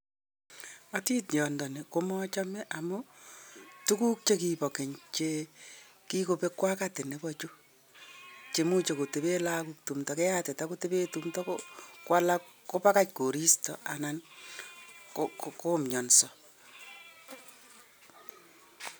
Atityondoni komochome amuu kibo Keny amuu muj koba lakok keyatita ako konyor alamok eng borwek kwaak